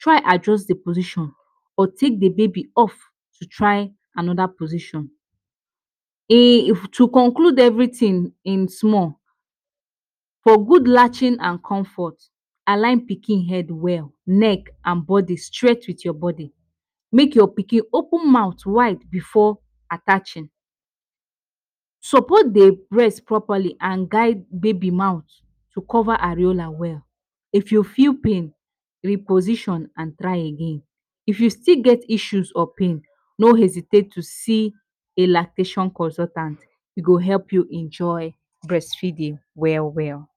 try adjust the position or take de baby off to try another position. A to conclude everything in small for good latching and comfort align pikin head well, neck and body straight with your body make your pikin open mouth wide before attaching. Support the breast properly and guide baby mouth to cover areola well, if you feel pain reposition and try again, if you still get issue or pain no hesitate to see a lactation consultant e go help you enjoy breastfeeding well well.